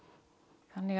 þannig